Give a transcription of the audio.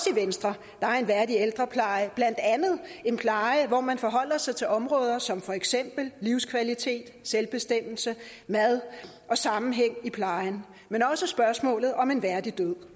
venstre er en værdig ældrepleje blandt andet en pleje hvor man forholder sig til områder som for eksempel livskvalitet selvbestemmelse mad og sammenhæng i plejen men også spørgsmålet om en værdig død